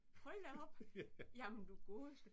Hold da op! Jamen du godeste